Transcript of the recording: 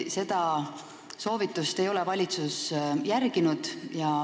Seda soovitust ei ole valitsus järginud.